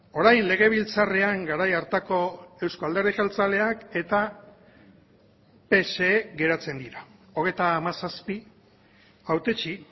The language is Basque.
orain legebiltzarrean garai hartako euzko alderdi jeltzaleak eta pse geratzen dira hogeita hamazazpi hautetsi